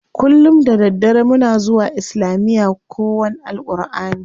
Kullum da daddare muna zuwa islamiya kowan AlƘurʼani.